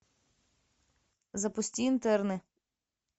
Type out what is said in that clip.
запусти интерны